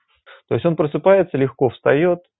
то есть он просыпается легко встаёт